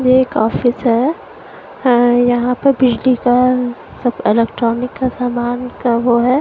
यह एक ऑफिस है अं यहाँ पर बिजली का सब अलेक्ट्रॉनिक का सामान का वो है।